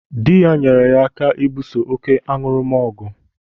Dị ya nyere ya aka ibuso oké aṅụrụma ọgụ.